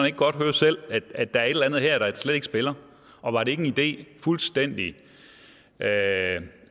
ikke godt høre selv at der er et eller andet her der slet ikke spiller og var det ikke en idé fuldstændig